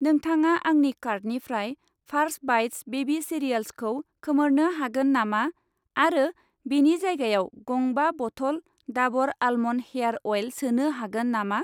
नोंथाङा आंनि कार्टनिफ्राय फार्स बाइट्स बेबि सिरियाल्सखौ खोमोरनो हागोन नामा आरो बेनि जायगायाव गं बा bottle Dabur almond hair oil सोनो हागोन नामा?